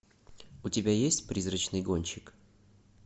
у тебя есть призрачный гонщик